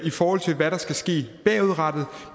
i forhold til hvad der skal ske bagudrettet